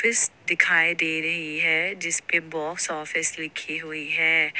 इस दिखाई दे रही है जिसपे बॉक्स ऑफिस लिखी हुई है।